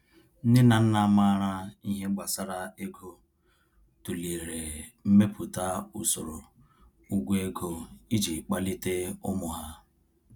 Nne na nna maara ihe gbasara ego tụlere imepụta usoro ụgwọ ego iji kpalite ụmụ ha.